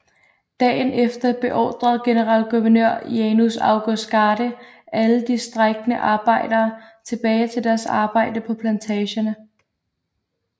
Dagen efter beordrede generalguvenør Janus August Garde alle de strejkende arbejdere tilbage til deres arbejde på plantagerne